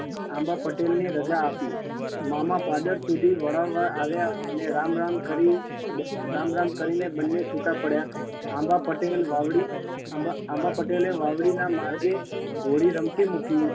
આંબા પટેલને રજા આપી. મામા પાદર સુધી વળાવવા આવ્યા ને રામ રામ કરી રામ રામ કરીને બંને છુટા પડ્યા આંબા પટેલ વાવડી આંબા આંબા પટેલે વાવડીના માર્ગે ઘોડી રમતી મૂકી